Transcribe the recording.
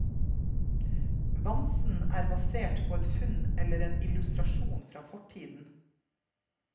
Vamsen er basert på et funn eller en illustrasjon fra fortiden.